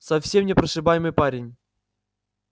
совсем непрошибаемый парень